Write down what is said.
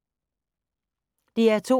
DR2